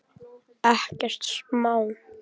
Ekkert smá.